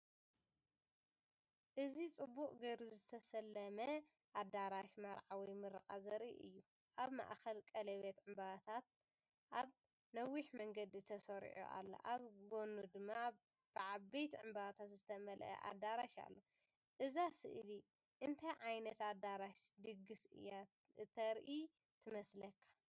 እዚ ጽቡቕ ጌሩ ዝተሰለመ ኣዳራሽ መርዓ ወይ ምረቓ ዘርኢ እዩ። ኣብ ማእከል ቀለቤት ዕምባባታት ኣብ ነዊሕ መንገዲ ተሰሪዑ ኣሎ፣ ኣብ ጎድኑ ድማ ብዓበይቲ ዕምባባታት ዝተመልአ ኣዳራሽ ኣሎ። እዛ ስእሊ እንታይ ዓይነት ኣዳራሽ ድግስ እያ እተርኢ ትመስለካ?